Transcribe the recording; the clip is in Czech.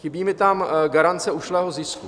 Chybí mi tam garance ušlého zisku.